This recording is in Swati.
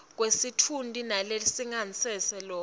kwesitfunti nelingasese lakho